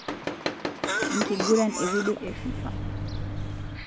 Enkiguran evidio e FIFA.